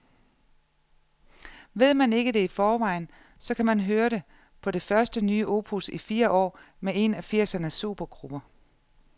Ved man ikke det i forvejen, så kan man høre det på det første nye opus i fire år med en af firsernes supergrupper.